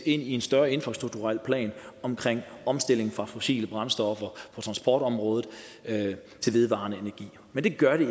i en større infrastrukturel plan omkring omstilling fra fossile brændstoffer på transportområdet til vedvarende energi men det gør det